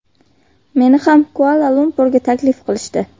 Meni ham Kuala-Lumpurga taklif qilishdi.